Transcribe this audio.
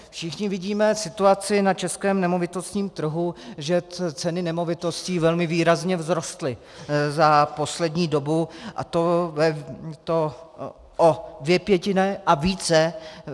Všichni vidíme situaci na českém nemovitostním trhu, že ceny nemovitostí velmi výrazně vzrostly za poslední dobu, a to o dvě pětiny a více.